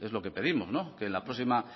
es lo que pedimos que en la próxima